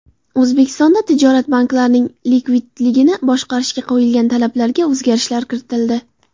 O‘zbekistonda tijorat banklarining likvidligini boshqarishga qo‘yiladigan talablarga o‘zgarishlar kiritildi.